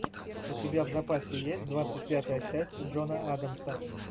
у тебя в запасе есть двадцать пятая часть джона адамса